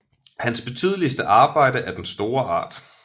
Hans betydeligste Arbejde er den store Art